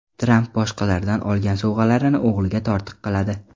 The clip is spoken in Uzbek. Tramp boshqalardan olgan sovg‘alarini o‘g‘liga tortiq qiladi.